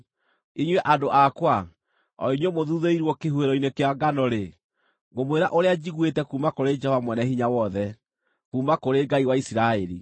Inyuĩ andũ akwa, o inyuĩ mũthuthĩirwo kĩhuhĩro-inĩ kĩa ngano-rĩ, ngũmwĩra ũrĩa njiguĩte kuuma kũrĩ Jehova Mwene-Hinya-Wothe, kuuma kũrĩ Ngai wa Isiraeli.